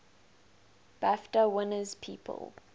bafta winners people